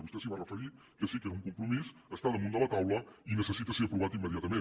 vostè s’hi va referir que sí que era un compromís està damunt de la taula i necessita ser aprovat immediatament